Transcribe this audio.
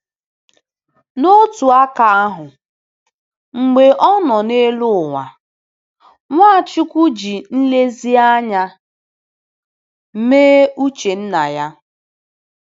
N’otu aka ahụ, mgbe ọ nọ n’elu ụwa, Nwachukwu ji nlezianya mee uche Nna ya.